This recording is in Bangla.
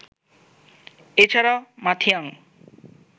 এছাড়াও মাথিয়াং